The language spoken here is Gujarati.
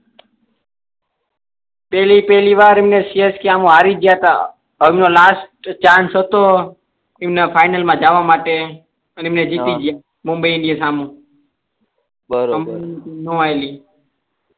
પેહલી પેહલી બાર મેં સેઠ કેહ હું હારી ગયા થા અબ યો લાસ્ટ ચાન્સ તો એમના ફાઈનલ મા જવા માટે અને મેચ જીતીગયા મુંબઈ ની સામે બરોબર